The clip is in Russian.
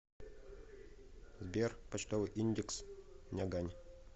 сбер почтовый индекс нягань